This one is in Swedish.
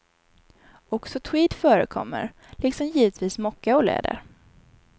Också tweed förekommer, liksom givetvis mocka och läder.